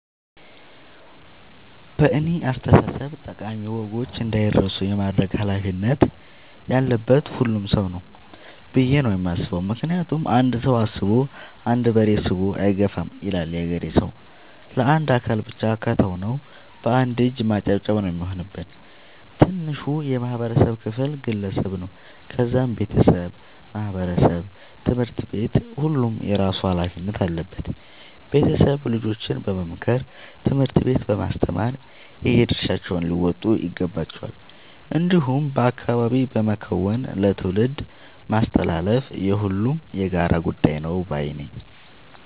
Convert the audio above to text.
በእኔ አስተሳሰብ ጠቃሚ ወጎች እንዳይረሱ የማድረግ ኃላፊነት ያለበት ሁሉም ሰው ነው። ብዬ ነው የማስበው ምክንያቱም "አንድ ሰው አስቦ አንድ በሬ ስቦ አይገፋም " ይላል ያገሬ ሰው። ለአንድ አካል ብቻ ከተው ነው። በአንድ እጅ ማጨብጨብ ነው የሚሆንብን። ትንሹ የማህበረሰብ ክፍል ግለሰብ ነው ከዛም ቤተሰብ ማህበረሰብ ትምህርት ቤት ሁሉም የየራሱ ኃላፊነት አለበት ቤተሰብ ልጆችን በመምከር ትምህርት ቤት በማስተማር የየድርሻቸውን ሊወጡ ይገባቸዋል። እንዲሁም በአካባቢ በመከወን ለትውልድ ማስተላለፍ የሁሉም የጋራ ጉዳይ ነው ባይነኝ።